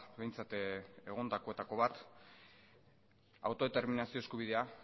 behintzat egondakoetako bat autodeterminazio eskubidea